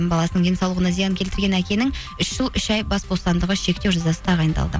баласының денсауылғына зиян келтірген әкенің үш жыл үш ай бас бостандығы шектеу жазасы тағайындалды